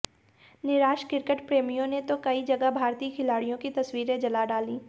निराश क्रिकेट प्रेमियों ने तो कई जगह भारतीय खिलाड़ियों की तस्वीरें जला डाली